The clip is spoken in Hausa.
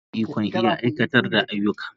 Mai himma shine ikon iya aiwatar da ayyuka.